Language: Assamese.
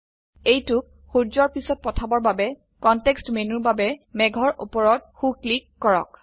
এইটোক সূৰ্যৰ পিছত পাঠাবৰ বাবে কনটেক্সট মেনুৰ বাবে মেঘৰ উপৰত সো ক্লিক কৰক